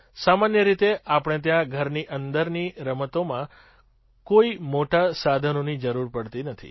સામાન્ય રીતે આપણે ત્યાં ઘરની અંદરની રમતોમાં કોઈ મોટાં સાધનોની જરૂર પડતી નથી